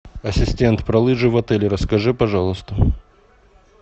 ассистент про лыжи в отеле расскажи пожалуйста